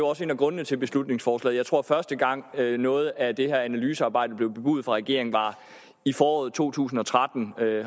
også en af grundene til beslutningsforslaget jeg tror første gang noget af det her analysearbejde blev bebudet fra regeringen var i foråret to tusind og tretten